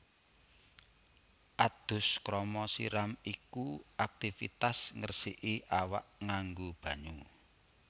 Adus krama siram iku aktivitas ngresiki awak nganggo banyu